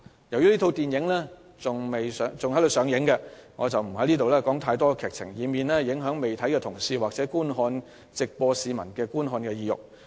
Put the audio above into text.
由於這齣電影仍在上映，我不便透露太多劇情，以免影響同事或市民的觀看意欲。